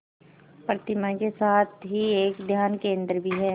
प्रतिमा के साथ ही एक ध्यान केंद्र भी है